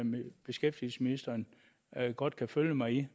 beskæftigelsesministeren godt kan følge mig i